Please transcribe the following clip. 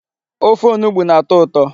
Ofe onugbu na-atọ ụtọ.